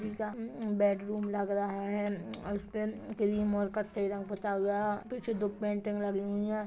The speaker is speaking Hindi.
बेडरूम लग रहा है और उसपे पुता हुआ है पिछे दो पेंटिंग लगी हुई है।